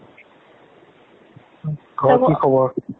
ঘৰত কি খবৰ?